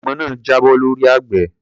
Àgbọn náà jábọ́ lọ́rí àgbẹ̀.